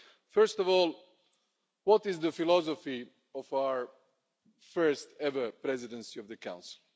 First of all, what is the philosophy of our first ever Presidency of the Council?